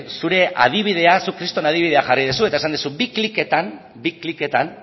zure adibidea zuk kriston adibidea jarri duzu eta esan duzu bi kliketan bi kliketan